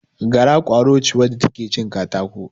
Gara, ƙwaro ce wacce ta ke cin katako.